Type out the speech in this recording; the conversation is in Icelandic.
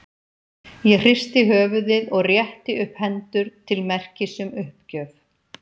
Ég hristi höfuðið og rétti upp hendur til merkis um uppgjöf.